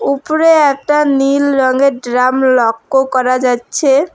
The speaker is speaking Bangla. উপরে একটা নীল রঙের ড্রাম লক্ক করা যাচ্চে।